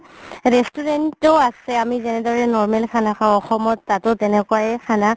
restaurant ও আছে আমি যেনেদৰে normal খানা খাও অসমত তাতও তেনেকুৱাই খানা